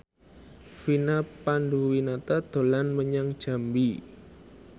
Vina Panduwinata dolan menyang Jambi